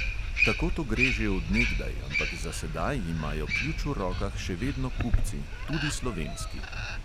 Tako to gre že od nekdaj, ampak za sedaj imajo ključ v rokah še vedno kupci, tudi slovenski.